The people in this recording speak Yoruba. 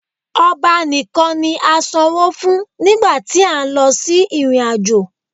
Ọba nìkan ni a sanwó fún nígbà tí a ń lọ sí ìrìn-àjò